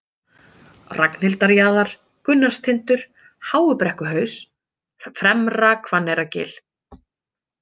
Ragnhildarjaðar, Gunnarstindur, Háubrekkuhaus, Fremra-Hvanneyrargil